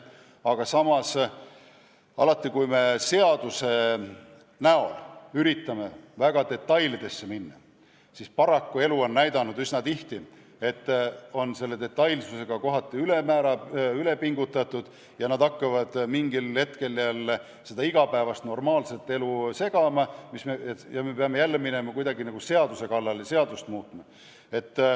Aga samas alati, kui üritame seaduses väga detailidesse minna, on elu paraku üsna tihti näidanud, et detailsusega pingutatakse kohati üle ja mingil hetkel hakkavad need detailid normaalset igapäevast elu segama ja me peame jälle seaduse kallale minema, seadust muutma.